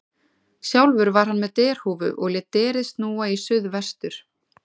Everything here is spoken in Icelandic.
Sjálfur var hann með derhúfu og lét derið snúa í suð vestur.